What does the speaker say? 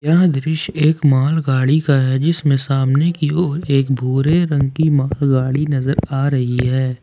यह दृश्य एक मालगाड़ी का है जिसमें सामने की ओर एक भूरे रंग की मालगाड़ी नजर आ रही है।